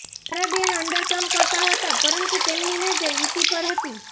તારાબેન અંદર કામ કરતા હતા પરંતુ તેમની નજર ઇતિ પર હતી